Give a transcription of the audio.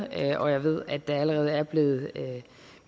og jeg ved at der allerede er blevet